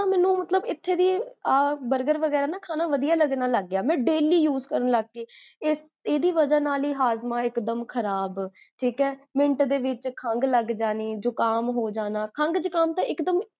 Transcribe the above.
ਮੈਨੂ ਮਤਲਬ ਇਥੇ ਵੀ ਆ burger ਵਗੇਰਾ ਨਾ ਖਾਨਾ ਵਧਿਆ ਲੱਗਣ ਲਗਪਿਆ ਮੈਂ daily use ਕਰਨ ਲਗ ਗਈ ਈਦੀ ਵਜਾਹ ਨਾਲ ਹੀ, ਹਾਜ੍ਮਾਂ ਏਕ੍ਦੁਮ ਖਰਾਬ, ਠੀਕ ਹੈ ਮਿੰਟ ਦੇ ਵਿੱਚ ਖੰਗ ਲਗ੍ਜਾਨੀ, ਜੁਖਾਮ ਹੋਜਾਨਾ, ਖੰਗ ਜੁਖਾਮ ਤਾਂ ਏਕਦੁਮ